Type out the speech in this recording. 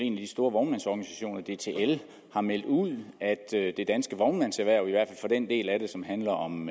en af de store vognmandsorganisationer dtl har meldt ud at det danske vognmandserhverv i hvert fald den del af det som handler om